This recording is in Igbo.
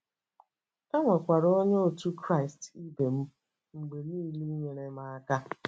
E nwekwara Onye otu Kraịst ibe m mgbe nile inyere m aka.